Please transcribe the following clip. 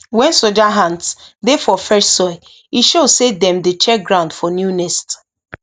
when soldier ants dey for fresh soil e show say dem dey check ground for new nest